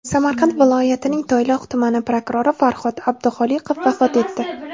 Samarqand viloyatining Toyloq tumani prokurori Farhod Abduxoliqov vafot etdi.